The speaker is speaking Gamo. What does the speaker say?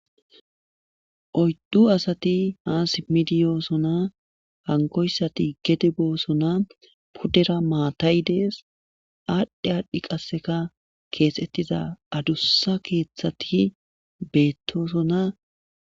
oyddu asati haa simidiyoosona hankoyssati gedeboosona puddera maatay dees aadhdhe aadhdhi qasseka keesettiza adussa keeththati beettoosona